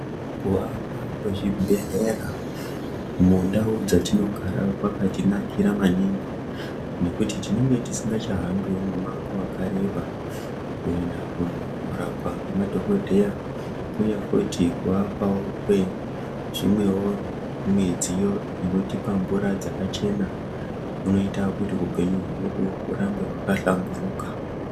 Ku akwa kwe zvibhedhlera mundau dzatinogara kwakati nakira maningi nekuti tinenge tisingacha hambiwo mu mango wakareba kuenda kuno rapwa nge madhokodheya uye futi ku akwawo kwe zvimwewo midziyo inotipa mvura dzakachena kunoita kuti upenyu hwedu hurambe hwaka hlamburuka.